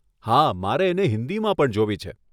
હા, મારે એને હિંદીમાં પણ જોવી છે.